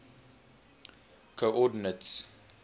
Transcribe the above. coordinates